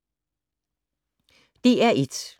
DR1